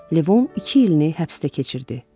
Levon iki ilini həbsdə keçirdi.